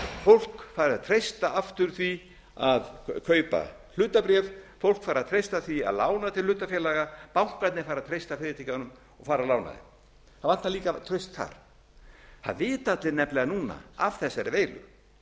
fólk fari að treysta aftur því að kaupa hlutabréf fólk fari að treysta því að lána til hlutafélaga bankarnir fari að treysta fyrirtækjunum og fara að lána þeim það vantar líka traust þar það vita allir nefnilega núna af þessari veilu